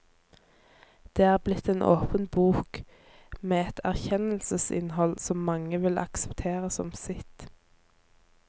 Det er blitt en åpen bok, med et erkjennelsesinnhold som mange vil akseptere som sitt.